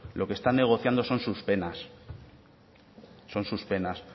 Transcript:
lo que están negociando son sus penas son sus penas